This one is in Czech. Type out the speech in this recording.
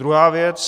Druhá věc.